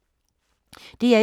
DR1